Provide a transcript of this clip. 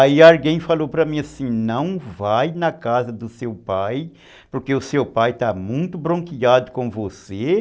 Aí alguém falou para mim assim, não vai na casa do seu pai, porque o seu pai está muito bronqueado com você.